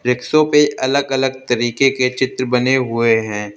रिक्सो पे अलग अलग तरीके के चित्र बने हुए हैं।